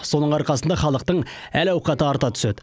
соның арқасында халықтың әл ауқаты арта түседі